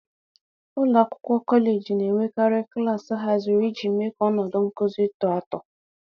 .Ụlọ akwụkwọ kọleji na-enwekarị klaasị haziri iji mee ka ọnọdụ nkuzi tọọ atọ.